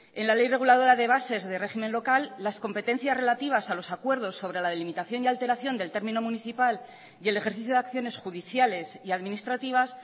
en la ley reguladora de bases de régimen local las competencias relativas a los acuerdos sobre la delimitación y alteración del término municipal y el ejercicio de acciones judiciales y administrativas